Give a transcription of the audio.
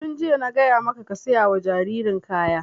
Tun jiya na gaya maka ka saya wa jaririn kaya!